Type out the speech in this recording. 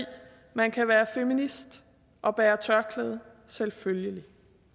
man kan være feminist og bære tørklæde selvfølgelig